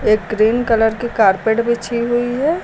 एक green colour के carpet बिछी हुई है।